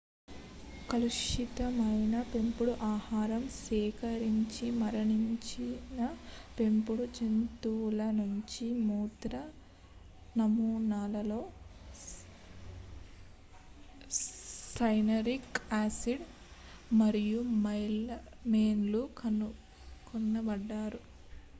కలుషితమైన పెంపుడు ఆహారం సేవించిమరణించిన పెంపుడు జంతువుల నుంచి మూత్ర నమూనాల్లో సైనరిక్ యాసిడ్ మరియు మెలమైన్ లు కనుగొనబడ్డాయి